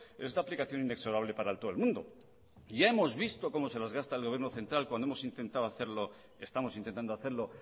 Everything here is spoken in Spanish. es de aplicación inexorable para todo el mundo ya hemos visto como se las gasta el gobierno central cuando hemos intentado hacerlo estamos intentando hacerlo